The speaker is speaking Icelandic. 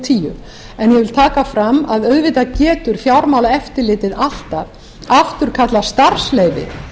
tíu en ég vil taka fram að auðvitað getur fjármálaeftirlitið alltaf afturkallað starfsleyfi